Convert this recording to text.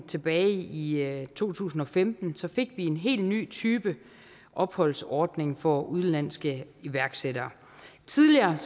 tilbage i i to tusind og femten fik vi en helt ny type opholdsordning for udenlandske iværksættere tidligere